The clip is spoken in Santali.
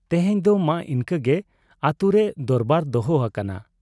ᱛᱮᱦᱮᱧ ᱫᱚ ᱢᱟ ᱤᱱᱠᱟᱹ ᱜᱮ ᱾ ᱟᱹᱛᱩᱨᱮ ᱫᱚᱨᱵᱟᱨ ᱫᱚᱦᱚ ᱟᱠᱟᱱᱟ ᱾